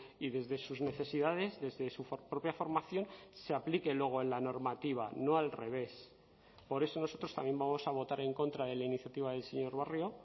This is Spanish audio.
y desde sus necesidades desde su propia formación se aplique luego en la normativa no al revés por eso nosotros también vamos a votar en contra de la iniciativa del señor barrio